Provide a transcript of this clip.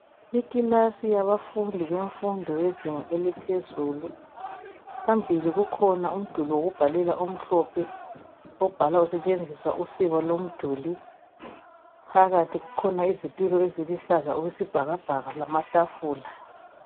Ikilasi yabafundi bemfundo bezinga eliphezulu. Phambili kukhona umduli wokubhalela, omhlophe , obhalwa kusetshenziswa usiba lomduli .Phakathi kukhona ithebuli eluhlaza okwesibhakabhaka, lamatafula.